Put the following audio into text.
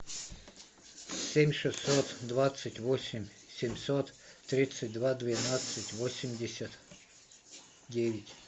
семь шестьсот двадцать восемь семьсот тридцать два двенадцать восемьдесят девять